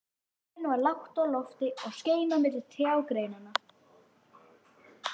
Sólin var lágt á lofti og skein á milli trjágreinanna.